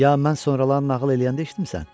Ya mən sonralar nağıl eləyəndə eşitmisən?